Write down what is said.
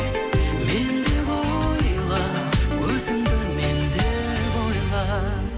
мен деп ойла өзіңді мен деп ойла